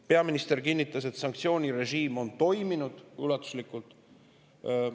Peaminister kinnitas, et sanktsioonirežiim on toiminud ulatuslikult.